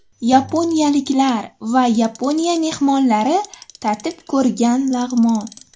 Yaponiyaliklar va Yaponiya mehmonlari tatib ko‘rgan lag‘mon.